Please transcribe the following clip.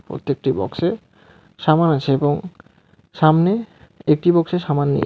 প্রত্যেকটি বক্সে সামান আছে এবং সামনে একটি বক্সে সামান নেই.